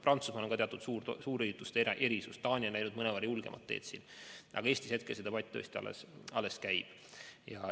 Prantsusmaal kehtib teatud suurürituste erisus, Taani on läinud mõnevõrra julgemat teed, aga Eestis see debatt tõesti alles käib.